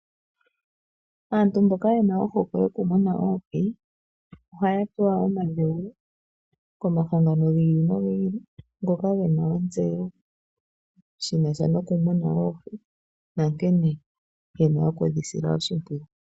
Aantu mboka yena ohokwe yokumuna oohi ohaya pewa omadhewulo komahangano giili no giili ngoka gena ontseyo shinasha nokumuna oohi nankene yena okudhisila oshimpwiyu.